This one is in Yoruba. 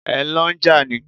Ẹ lọ n jà ni?